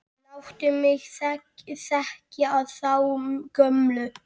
Láttu mig þekkja þá gömlu!